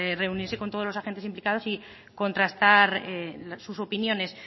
reunirse con todos los agentes implicados y contrastar sus opiniones